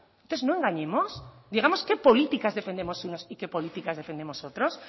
entonces no engañemos digamos qué políticas defendemos unos y qué políticas defendamos otros